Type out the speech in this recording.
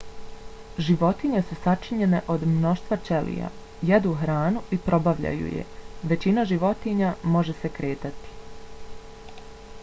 životinje su sačinjene od mnoštva ćelija. jedu hranu i probavljaju je. većina životinja može se kretati